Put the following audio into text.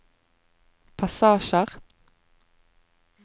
passasjer